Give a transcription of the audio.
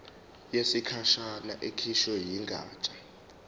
yesikhashana ekhishwe yigatsha